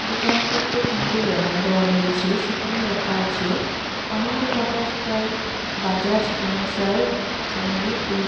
দোকানটিতে তিনটে ব্যানার দেওয়া রয়েছে সেখানে লেখা আছে অনিন্দ্য টাটা স্কাই বাজাজ ফিনিনশার ইলেক --